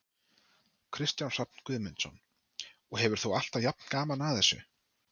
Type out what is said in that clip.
Kristján Hrafn Guðmundsson: Og hefur þú alltaf jafn gaman af þessu?